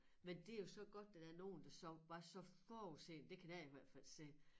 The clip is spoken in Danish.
Men det jo så godt at der nogle der så var så forudseende det kan jeg i hvert fald se